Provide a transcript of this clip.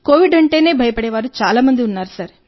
Covid అంటేనే భయపడే చాలా మంది ఉన్నారు